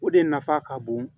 O de nafa ka bon